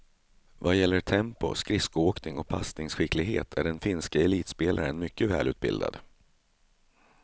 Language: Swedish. Vad gäller tempo, skridskoåkning och passningskicklighet är den finske elitspelaren mycket välutbildad.